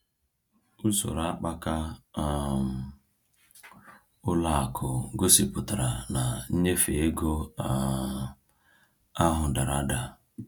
Usoro akpaka um ụlọ akụ gosipụtara na nnyefe ego um ahụ dara ada.